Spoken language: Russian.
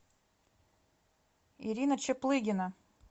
ирина чаплыгина